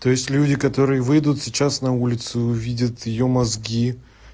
то есть люди которые выйдут сейчас на улице увидят её мозги